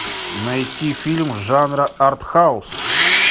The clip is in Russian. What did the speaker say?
найти фильм жанра артхаус